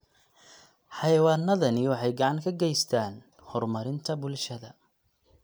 Xayawaanadani waxay gacan ka geystaan ??horumarinta bulshada.